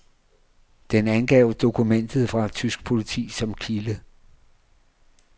Den angav dokumenter fra tysk politi som kilde.